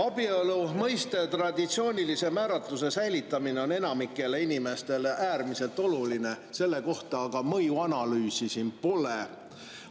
Abielu mõiste traditsioonilise määratluse säilitamine on enamikule inimestele äärmiselt oluline, selle kohta aga mõjuanalüüsi siin pole.